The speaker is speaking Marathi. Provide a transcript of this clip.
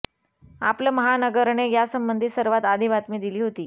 आपलं महानगरने यासंबंधी सर्वात आधी बातमी दिली होती